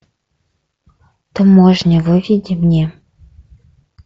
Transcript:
таможня выведи мне